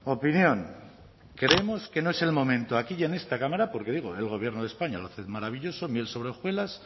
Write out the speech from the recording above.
opinión creemos que no es el momento aquí y en esta cámara porque digo el gobierno de españa lo hace maravilloso miel sobre hojuelas